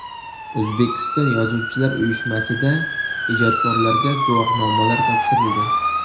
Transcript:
O‘zbekiston Yozuvchilar uyushmasida ijodkorlarga guvohnomalar topshirildi.